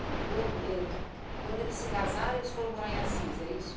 E quando eh quando eles se casaram, eles foram morar em Assis, é isso?